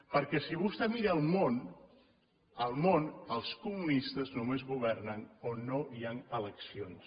perquè si vostè mira el món al món els comunistes només governen on no hi han eleccions